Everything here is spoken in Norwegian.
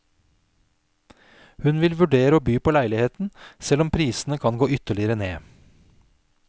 Hun vil vurdere å by på leiligheten, selv om prisene kan gå ytterligere ned.